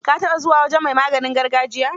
Ka taɓa zuwa wajen mai ba da maganin gargajiya?